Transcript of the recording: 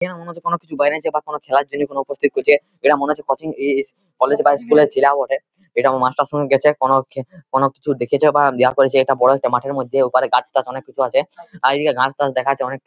এরা মনে হচ্ছে কোন কিছু বাইরে যাবার খেলা প্রস্তুতি করছে | এরা মনে হচ্ছে কোচিং এ .এস কলেজ বা স্কুল -এর চেলা বঠে এটা মাস্টারের সঙ্গে গেছে | কোন কোন কিছু দেখেছে বা ইয়া করেছে একটা বড় মাঠের মধ্যে ওপারে গাছটাজ অনেক কিছু আছে আর এদিকে দেখা যাচ্ছে ঘাস টাস অনেক --